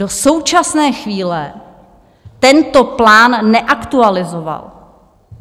Do současné chvíle tento plán neaktualizoval.